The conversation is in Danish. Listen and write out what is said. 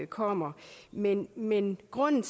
kommer men men grunden